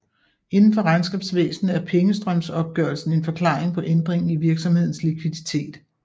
Indenfor regnskabsvæsen er pengestrømsopgørelsen en forklaring på ændringen i virksomhedens likviditet